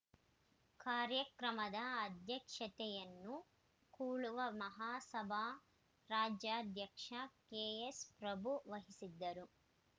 ಕಾರ್ಯಕ್ರಮದ ಅಧ್ಯಕ್ಷತೆಯನ್ನು ಕುಳುವ ಮಹಾಸಭಾ ರಾಜ್ಯಾಧ್ಯಕ್ಷ ಕೆಎನ್‌ಪ್ರಭು ವಹಿಸಿದ್ದರು